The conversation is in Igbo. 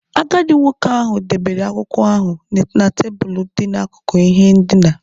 Agadi nwoke ahụ debere akwụkwọ ahụ na tebụl dị n'akụkụ ihe ndina.